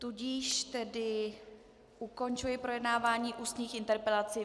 Tudíž tedy ukončuji projednávání ústních interpelací.